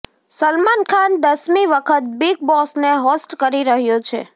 સલમાન ખાન દસમી વખત બિગ બોસને હોસ્ટ કરી રહ્યો છે